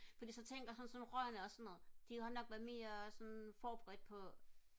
fordi så tænker jeg sådan rørene og sådan noget de har nok været mere sådan forberedte på